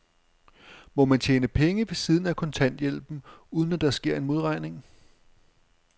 Må man tjene penge ved siden af kontanthjælpen, uden at der sker en modregning?